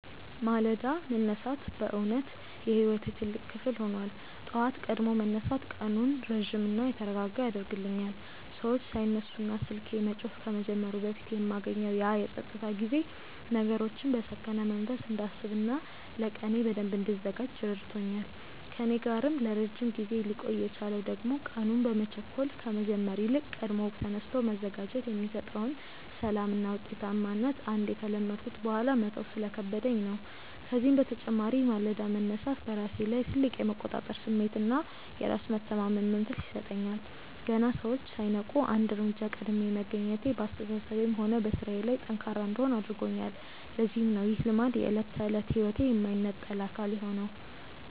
ማለዳ መነሳት በእውነት የሕይወቴ ትልቅ ክፍል ሆኗል። ጠዋት ቀድሞ መነሳት ቀኑን ረጅምና የተረጋጋ ያደርግልኛል፤ ሰዎች ሳይነሱና ስልኬ መጮህ ከመጀመሩ በፊት የማገኘው ያ የፀጥታ ጊዜ ነገሮችን በሰከነ መንፈስ እንዳስብና ለቀኔ በደንብ እንድዘጋጅ ረድቶኛል። ከእኔ ጋር ለረጅም ጊዜ ሊቆይ የቻለው ደግሞ ቀኑን በመቸኮል ከመጀመር ይልቅ ቀድሞ ተነስቶ መዘጋጀት የሚሰጠውን ሰላምና ውጤታማነት አንዴ ከለመድኩት በኋላ መተው ስለከበደኝ ነው። ከዚህም በተጨማሪ ማለዳ መነሳት በራሴ ላይ ትልቅ የመቆጣጠር ስሜትና በራስ የመተማመን መንፈስ ይሰጠኛል። ገና ሰዎች ሳይነቁ አንድ እርምጃ ቀድሜ መገኘቴ በአስተሳሰቤም ሆነ በሥራዬ ላይ ጠንካራ እንድሆን አድርጎኛል፤ ለዚህም ነው ይህ ልማድ የዕለት ተዕለት ሕይወቴ የማይነጠል አካል የሆነው።